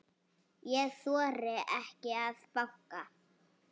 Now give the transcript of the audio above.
Ég þori ekki að banka.